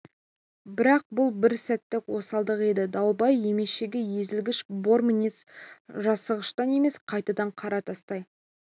бірақ бұл бір сәттік осалдық еді дауылбай емешегі езілгіш бор мінез жасығыштан емес қайтадан қара тастай